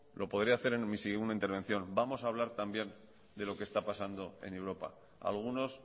lo podré hacer en mi segunda intervención vamos a hablar también de lo que está pasando en europa a algunos